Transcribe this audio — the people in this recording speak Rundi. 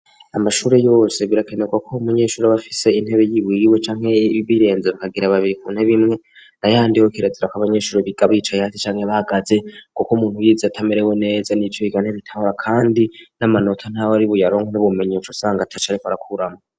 Amashuri yose birakenerwa ko umunyeshuri abafise intebe y'ibuiwe cyanke birenze bakagira babkunte bimwe na yandiho kirazira ko'abanyeshuri bigabicaye hate cyanke bagaze kuko umuntu wize atamerewe neza n'ico iganeritahora kandi n'amanota ntabe ari buyaronk n'ubmenyesho usanga tacareko arakuramwo.